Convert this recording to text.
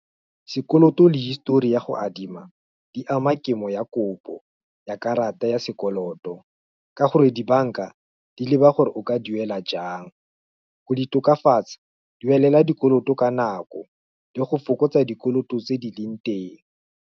Sekoloto le history ya go adima, di ama kemo ya kopo, ya karata ya sekoloto, ka gore dibanka, di leba gore o ka duela jang, go di tokafatsa, duelela dikoloto ka nako, le go fokotsa dikoloto tse di leng teng.